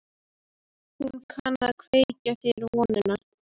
Hún kann að kveikja þér vonina.